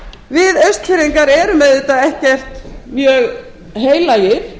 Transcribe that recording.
við austfirðingar erum auðvitað ekkert mjög heilagir